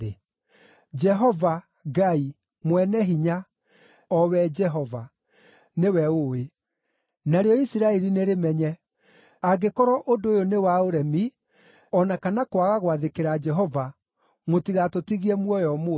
“Jehova, Ngai, Mwene-Hinya, o we Jehova! Jehova, Ngai, Mwene-Hinya, o we Jehova! Nĩwe ũũĩ! Narĩo Isiraeli nĩrĩmenye! Angĩkorwo ũndũ ũyũ nĩ wa ũremi o na kana kwaga gwathĩkĩra Jehova, mũtigatũtigie muoyo ũmũthĩ.